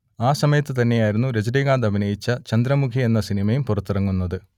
ആ സമയത്തു തന്നെയായിരുന്നു രജനീകാന്ത് അഭിനയിച്ച ചന്ദ്രമുഖി എന്ന സിനിമയും പുറത്തിറങ്ങുന്നത്